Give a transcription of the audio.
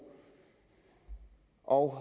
og